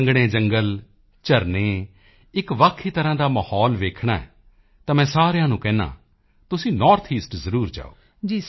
ਸੰਘਣੇ ਜੰਗਲ ਝਰਨੇ ਇੱਕ ਵੱਖ ਹੀ ਤਰ੍ਹਾਂ ਦਾ ਮਾਹੌਲ ਵੇਖਣਾ ਹੈ ਤਾਂ ਮੈਂ ਸਾਰਿਆਂ ਨੂੰ ਕਹਿੰਦਾ ਹਾਂ ਤੁਸੀਂ ਨੌਰਥ ਈਸਟ ਜ਼ਰੂਰ ਜਾਓ